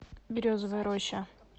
березовая роща